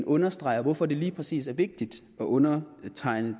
understreger hvorfor det lige præcis er vigtigt at undertegne